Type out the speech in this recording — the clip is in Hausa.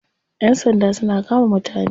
Yan sanda suna kama mutane.